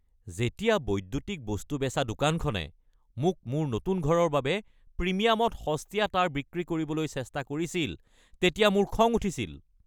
যেতিয়া বৈদ্যুতিক বস্তু বেচা দোকানখনে মোক মোৰ নতুন ঘৰৰ বাবে প্ৰিমিয়ামত সস্তীয়া তাঁৰ বিক্ৰী কৰিবলৈ চেষ্টা কৰিছিল তেতিয়া মোৰ খং উঠিছিল।